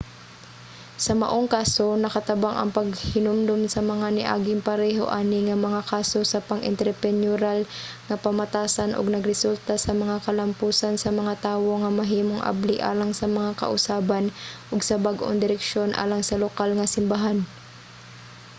sa maong kaso nakatabang ang paghinumdom sa mga niaging pareho ani nga mga kaso sa pang-entrepreneurial nga pamatasan ug nagresulta sa mga kalampusan sa mga tawo nga mahimong abli alang sa mga kausaban ug sa bag-ong direksyon alang sa lokal nga simbahan